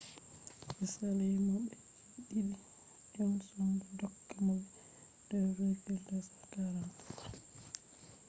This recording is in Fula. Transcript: be saali mo be je-didi johnson do tokka mo be 2,243